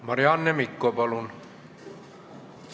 Marianne Mikko, palun!